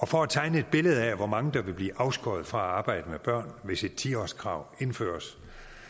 for at tegne et billede af hvor mange der vil blive afskåret fra at arbejde med børn hvis et ti årskrav indføres